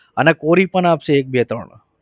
અને કોરી પણ આપશે એક બે ત્રણ.